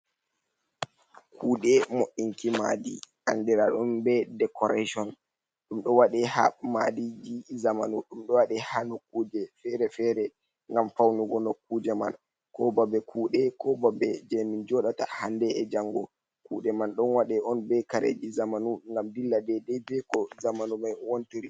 Kuuɗe mo"inki maadi anndiraɗum decoration ɗum ɗo waɗe haa maadiiji jamanu, ɗum do waɗe haa nokuuje feere-feere ngam fawnugo nokkuje man koo babe kuuɗe koo babe jey min jooɗata hannde e janngo. Kuuɗe man ɗon waɗe on bee kareeji jamanu ngam dillida bee koo jamanu mai wontiri.